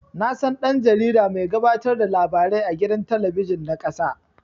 Nasan dan-jarida mai gabatar da labarai a gidan talabijin na ƙasa